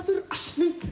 asni